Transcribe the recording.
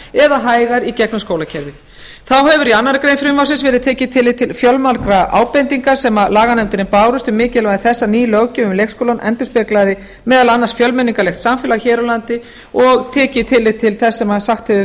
eða hægar í gegnum skólakerfið þá hefur í annarri grein frumvarpsins verið tekið tillit til fjölmargra ábendinga sem laganefndinni bárust um mikilvægi þess að ný löggjöf um leikskólann endurspeglaði meðal annars fjölmenningarlegt samfélag hér á landi og tekið tillit til þess sem sagt hefur